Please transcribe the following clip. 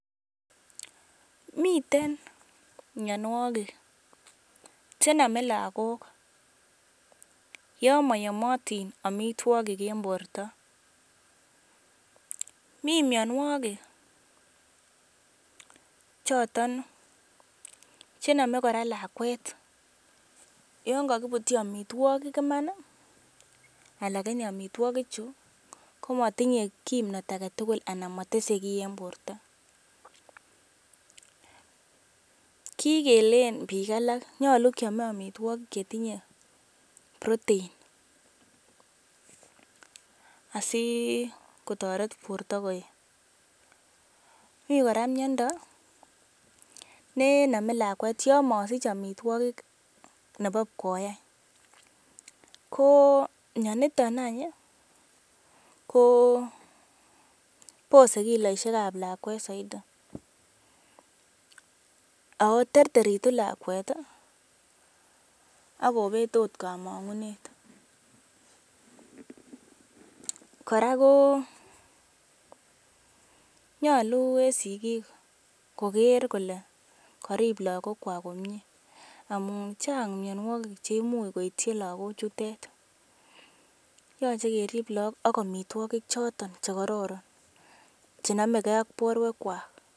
Miten mianwogik che nome lagok yon moyomotin amitwogik en borto. Mi mianwogik choton che nome kora lakwet yon kogibutyi amitwogik iman anan en amitwogichu komatinye kimnat age tugul anan motese kiy en borto. Ki keleen bik alak nyolu kyome amitwogik chetinye protein asi kotoret borto koet. Mi kora miando ne nome lakwet yon mosich amitwogik nebo pkoi any. Ko mianito any ko bose kiloishek ab lakwet soiti. Ago terteritu lakwet ak kobet ot komong'unet. Kora ko nyolu en sigik koger kole korib lagok komye amun chang mianwogik che imuch koityi lagochute. Yoche kerib lagok ak amitwogik choto che kororon che nomeke ak borwekwak.